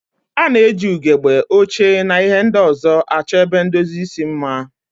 A na-eji ugegbe, oche, na ihe ndị ọzọ achọ ebe ndozi isi mma.